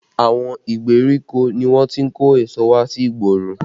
Àwọn ìgbèríko ni wọ́n ti ń kó èso wá sí igboro